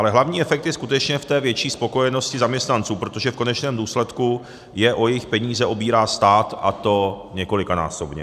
Ale hlavní efekt je skutečně v té větší spokojenosti zaměstnanců, protože v konečném důsledku je o jejich peníze obírá stát, a to několikanásobně.